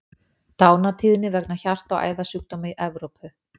Dánartíðni vegna hjarta- og æðasjúkdóma í Evrópu.